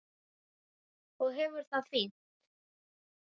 Og hefur það fínt.